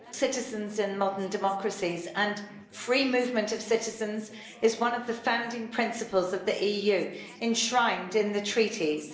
Mr President, citizens in modern democracies and free movement of citizens is one of the founding principles of the EU, enshrined in the Treaties.